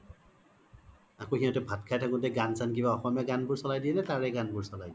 আৰু আকৌ ভাত চাত খাই থাকুতে গান চান কিবা অসমীয়া গান বোৰ চ্লাই দিয়ে নে তাৰে গান বোৰ্ চ্লাই ?